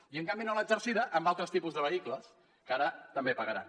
i en canvi no l’ha exercida en altres tipus de vehicles que ara també pagaran